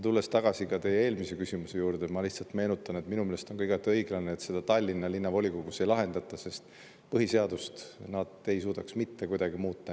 Tulles tagasi teie eelmise küsimuse juurde, ma lihtsalt meenutan, et minu meelest on igati õiglane, et seda Tallinna Linnavolikogus ei lahendata, sest põhiseadust nad ei suudaks mitte kuidagi muuta.